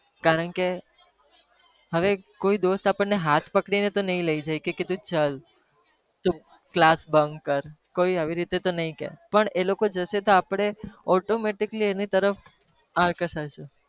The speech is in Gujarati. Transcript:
કારણ કે હવે કોઈ દોસ્ત આપણે ને હાથ પકડીને તો નહી લઇ જાય કે તું ચલ તું class bunk કર કોઈ આવી રીતે તો નહી કે પણ એ લોકો જશે તો આપણે automatically એની તરફ આકર્ષાશુ.